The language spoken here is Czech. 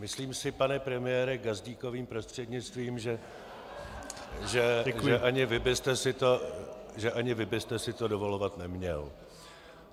Myslím si, pane premiére Gazdíkovým prostřednictvím, že ani vy byste si to dovolovat neměl.